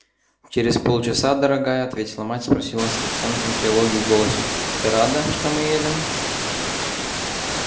через полчаса дорогая ответила мать спросила с оттенком тревоги в голосе ты рада что мы едем